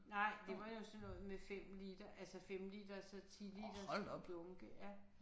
Nej det var jo sådan noget med 5 liter altså 5-liters og 10-liters dunke ja